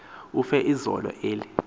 ufe izolo eli